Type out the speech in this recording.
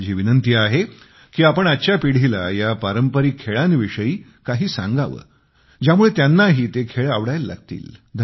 माझी विनंती आहे की आपण आजच्या पिढीला ह्या पारंपरिक खेळांविषयी काही सांगावे ज्यामुळे त्यांनाही ते खेळ आवडायला लागतील